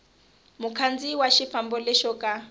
mukhandziyi wa xifambo lexo ka